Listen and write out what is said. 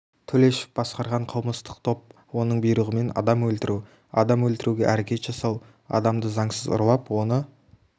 төлешов басқарған қылмыстық топ оның бұйрығымен адам өлтіру адам өлтіруге әрекет жасау адамды заңсыз ұрлап оны